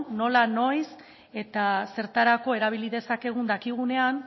nola noiz eta zertarako erabili dezakegun dakigunean